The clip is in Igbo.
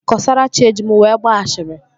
Kọsarachi eji m wee gbaa ashịrị?